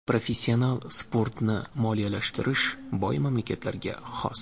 Professional sportni moliyalashtirish boy mamlakatlarga xos.